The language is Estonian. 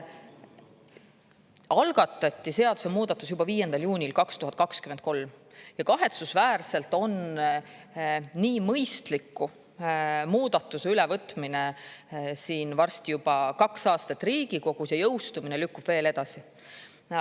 Algatati seadusemuudatus juba 5. juunil 2023 ja kahetsusväärselt on nii mõistliku muudatuse ülevõtmine siin varsti juba kaks aastat Riigikogus ja jõustumine lükkub veel edasi.